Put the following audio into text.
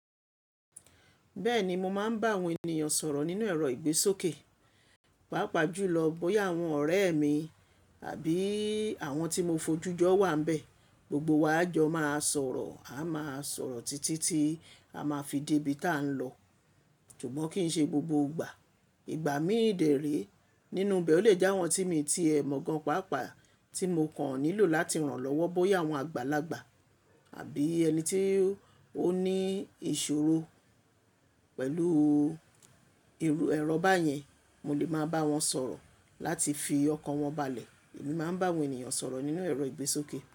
Bẹ́ẹ̀ni, mo máa ń bá àwọn ènìyàn sọ̀rọ̀ nínú ẹ̀rọ ìgbésókè, pàápàá jùlọ bóyá àwọn ọ̀rẹ́ mi àbí àwọn tí mo fojú jọ wà ń bẹ. Gbogbo wa yóò jọ máa sọ̀rọ̀, a máa sọ̀rọ̀ títí tí a máa fi dé ibi tí a ń lọ. Ṣùgbọ́n kì í ṣe gbogbo ìgbà. Ìgbà mí dẹ̀ré nínú bẹ̀ ọ lè jẹ́ àwọn tí mo ti ẹ mọ̀ gan pàápàá tí mo kàn nílò láti ràn lọ́wọ́ bóyá àwọn àgbàlagbà àbí ẹni tí ó ní ìṣòro pẹ̀lú ìrù ẹrọ báyẹn, mo lè máa bá wọn sọ̀rọ̀ láti fi ọkàn wọn balẹ̀. Èmi máa ń bá àwọn ènìyàn sọ̀rọ̀ nínú ẹ̀rọ ìgbésókè.